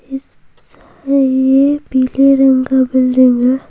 इस है पीले रंग का बिल्डिंग है।